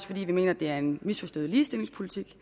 fordi vi mener det er en misforstået ligestillingspolitik